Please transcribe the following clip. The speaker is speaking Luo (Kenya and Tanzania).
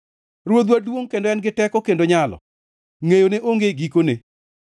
Ruodhwa duongʼ kendo en gi teko kendo nyalo; ngʼeyone onge gikone.